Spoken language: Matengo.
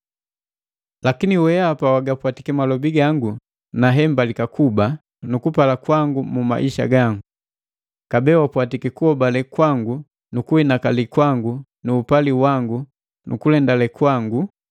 Lakini wehapa wagapwatiki mabole gangu na hembalika kuba nu kupala kwangu mu maisha gangu. Kabee wapwatiki kuhobale kwangu nu kuhinakali kwangu nu upali wangu nu kulendale kwangu,